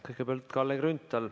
Kõigepealt Kalle Grünthal.